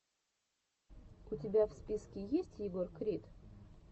у тебя в списке есть егор крид